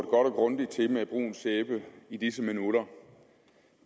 og grundigt til med brun sæbe i disse minutter